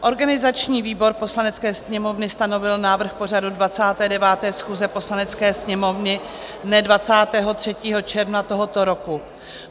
Organizační výbor Poslanecké sněmovny stanovil návrh pořadu 29. schůze Poslanecké sněmovny dne 23. června tohoto roku.